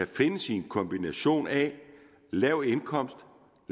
findes i en kombination af en lav indkomst